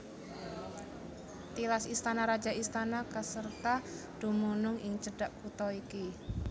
Tilas istana raja istana Caserta dumunung ing cedhak kutha iki